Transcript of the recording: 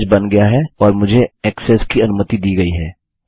message बन गया है और मुझे ऐक्सेस की अनुमति दी गई है